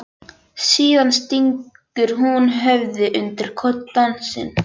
Síðan stingur hún höfðinu undir koddann sinn.